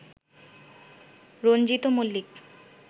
Ranjit Mallick